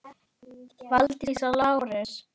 Valdís og Lárus.